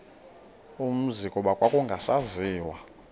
umzi kuba kwakungasaziwa